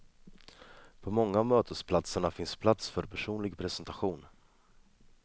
På många av mötesplatserna finns plats för personlig presentation.